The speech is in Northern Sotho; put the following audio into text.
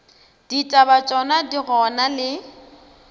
ditaba tšona di gona le